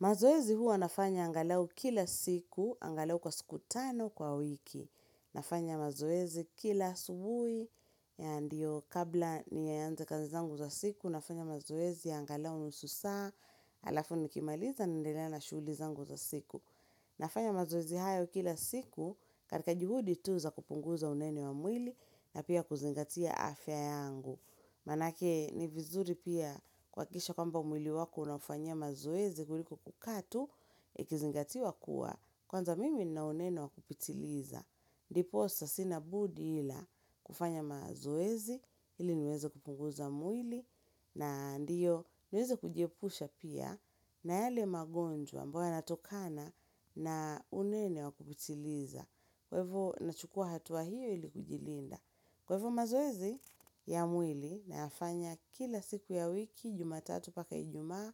Mazoezi huwa nafanya angalau kila siku, angalau kwa siku tano kwa wiki. Nafanya mazoezi kila asubuhi, ya ndio kabla niyaanze kazi zangu za siku, nafanya mazoezi ya angalau nusu saa, halafu nikimaliza naendelea na shughuli zangu za siku. Nafanya mazoezi hayo kila siku, katika juhudi tu za kupunguza unene wa mwili, na pia kuzingatia afya yangu. Manake ni vizuri pia kuhakikisha kwamba mwili wako unaufanya mazoezi kuliko kukaa tu Ikizingatiwa kuwa kwanza mimi nina unene wa kupitiliza Ndiposa sina budi ila kufanya mazoezi ili niweze kupunguza mwili na ndiyo niweze kujiepusha pia na yale magonjwa ambayo yanatokana na unene wa kupitiliza Kwa ivo nachukua hatua hiyo ili kujilinda Kwa ivo mazoezi ya mwili nayafanya kila siku ya wiki jumatatu mpaka ijumaa